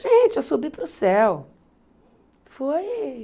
Gente, eu subi para o céu. Foi